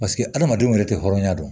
Paseke hadamadenw yɛrɛ tɛ hɔrɔnya dɔn